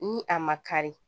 Ni a ma kari